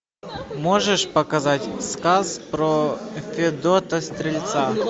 можешь показать сказ про федота стрельца